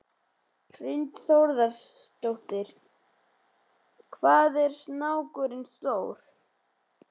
Hrund Þórsdóttir: Hvað var snákurinn stór?